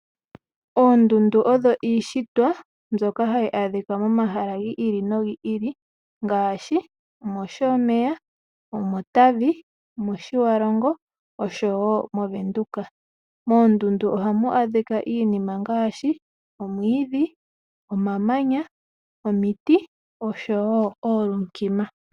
Oondundu odho iishitwa mbyoka hayi adhikwa momahala gi ili nogi ili ngaashi mOshomeya , omOtavi, omOtjiwarongo oshowo mOvenduka. Moondundu ohamu adhika iinima ngaashi omwiidhi, omamanya , omiti oshowo oolunkima.